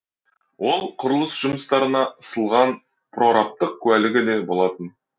ол құрылыс жұмыстарына ысылған прорабтық куәлігі де болатын